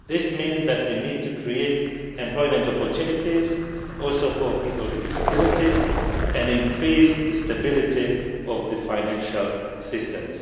This means that we need to create employment opportunities also for people with disabilities and increase the stability of financial systems.